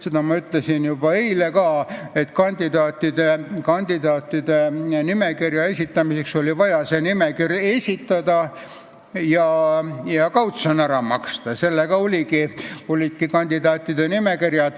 Seda ma ütlesin juba eile, et oli vaja see nimekiri esitada ja kautsjon ära maksta.